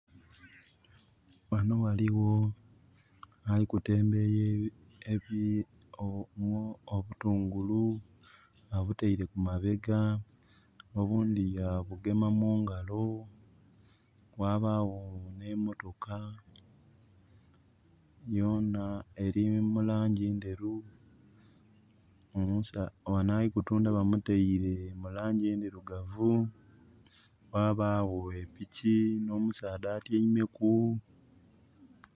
Wano waliwo alikutembeya obutungulu abutaire kumabega obundi ya bugema mungalo. Wabawo ne motoka yoona eri mulanji enderu. Wano alikutunda bamutaire mu lanji endirugavu. Wabawo epiki no musaadha atyaimeku